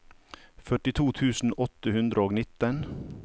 førtito tusen åtte hundre og nitten